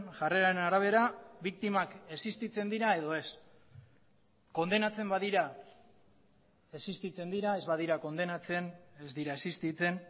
jarreraren arabera biktimak existitzen dira edo ez kondenatzen badira existitzen dira ez badira kondenatzen ez dira existitzen